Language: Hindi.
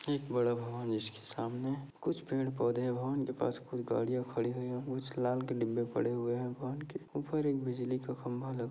एक बड़ा भवन जिसके सामने कुछ पेड़ पौधे है भवन के पास कुछ गाड़ियाँ खड़ी हुई है कुछ लाल कलर के डिब्बे पड़े है भवन के ऊपर एक बिजली का खंबा लगा --